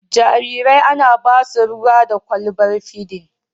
Jarirai ana ba su ruwa da kwalbar fidin.